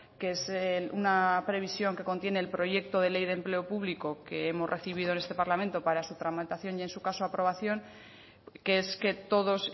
que es una previsión que contiene el proyecto de ley de empleo público que hemos recibido en este parlamento para su tramitación y en su caso aprobación que es que todos